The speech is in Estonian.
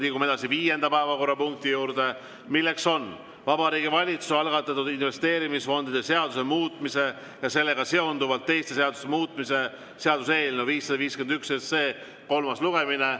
Liigume edasi viienda päevakorrapunkti juurde, milleks on Vabariigi Valitsuse algatatud investeerimisfondide seaduse muutmise ja sellega seonduvalt teiste seaduste muutmise seaduse eelnõu 551 kolmas lugemine.